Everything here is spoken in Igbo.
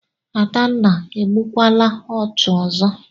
Adanna, egbukwala ọchụ ọzọ!